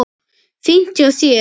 Fínt hjá þér.